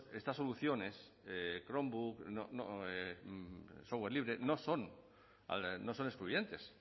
estas soluciones chromebook software libre no son excluyentes